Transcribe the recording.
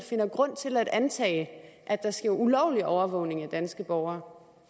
finder grund til at antage at der sker ulovlig overvågning af danske borgere